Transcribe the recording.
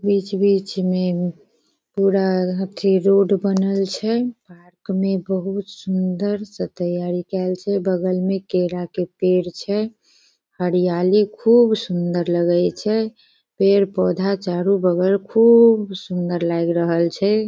बीच-बीच में पूरा अथी रोड बनल छे। पार्क में बहुत सुंदर से तैयारी कैल छे बगल में केला के पेड़ छे हरियाली खूब सुन्दर लगै छे। पेड़-पौधा चारो बगल खूब सुन्दर लग रहल छे।